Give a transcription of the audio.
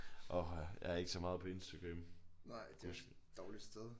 Åha jeg er ikke så meget på Instagram gudskelov